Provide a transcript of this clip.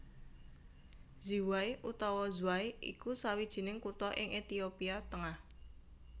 Ziway utawa Zway iku sawijining kutha ing Ethiopia tengah